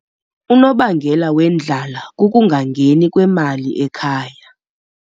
Unobangela wendlala kukungangeni kwemali ekhaya.